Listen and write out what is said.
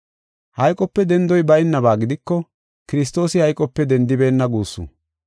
Hayqope dendoy baynaba gidiko Kiristoosi hayqope dendibeenna guussu.